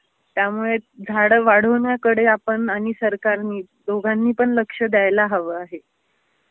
त्यामुळे झाड वाढवूण्याकडे आपण आणि सरकारनी दोघांनी पण लक्ष द्यायला हवं आहे.